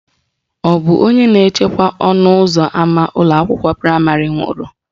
Ọ bụ onye na-echekwa ọnụụzọ ama ụlọakwụkwọ praịmarị nwụrụ?